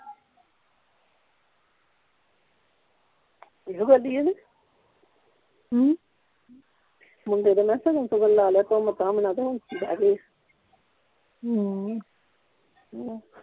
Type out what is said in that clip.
ਇਹੋ ਗੱਲ ਹੀ ਆ ਨਹੀਂ ਹਮ ਮੁੰਡੇ ਦਾ ਮੈਂ ਕਿਹਾ ਸ਼ਗਨ ਸ਼ੁਗਣ ਲਾ ਲਿਆ ਧੂਮ ਧਾਮ ਨਾਲ ਤੇ ਹੁਣ ਬਹਿ ਗਿਆ ਈ